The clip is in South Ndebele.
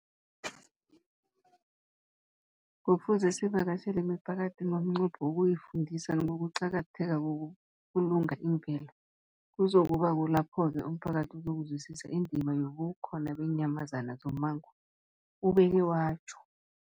Kufuze sivakatjhele imiphakathi ngomnqopho wokuyifundisa ngokuqakatheka kokubulunga imvelo. Kuzoku ba kulapho-ke umphakathi uzokuzwisisa indima yobukhona beenyamazana zommango, ubeke watjho.